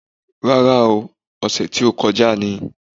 Rárá ooo, ọ̀sẹ̀ tí ó kọjá ni